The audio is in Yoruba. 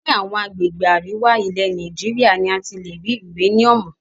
Ní àwọn agbègbè àríwá, ilẹ̀ Nàìjíríà ni a ti lè rí uréníúmù.